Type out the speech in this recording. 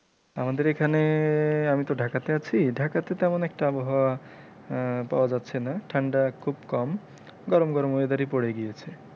আমাদের এখানে আমি তো ঢাকা তে আছি, ঢাকা তে তেমন একটা আবহাওয়া আহ পাওয়া যাচ্ছেনা ঠাণ্ডা খুব কম, গরম গরম weather ই পড়ে গিয়েছে।